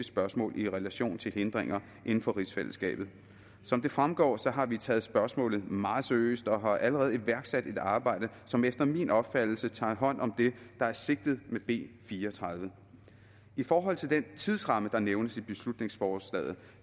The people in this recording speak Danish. spørgsmål i relation til hindringer inden for rigsfællesskabet som det fremgår har vi taget spørgsmålet meget seriøst og har allerede iværksat et arbejde som efter min opfattelse tager hånd om det der er sigtet med b fire og tredive i forhold til den tidsramme der nævnes i beslutningsforslaget